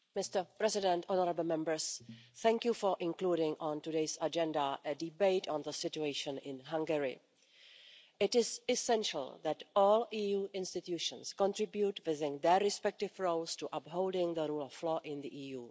Mr President, honourable Members, thank you for including on today's agenda a debate on the situation in Hungary. It is essential that all EU institutions contribute, within their respective roles, to upholding the rule of law in the EU.